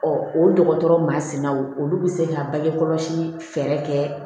o dɔgɔtɔrɔ ma sinaw olu be se ka bange kɔlɔsi fɛɛrɛ kɛ